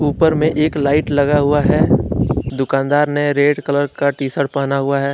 ऊपर में एक लाइट लगा हुआ है दुकानदार ने रेड कलर का टी शर्ट पहना हुआ है।